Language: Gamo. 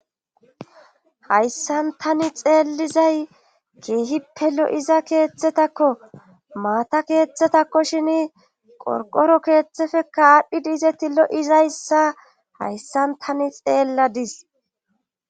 Hayssan tani xeellizay keehippe lo7iza keeththetakko maata keeththetakko shin qorqoro keeththefe kaadhdhi diize tillo7izayssa hayssan tani xeelladis